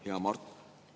Hea Mart!